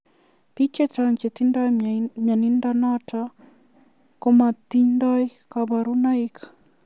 Pik chechang che tinyee muyenotok komatindio kabarunoik.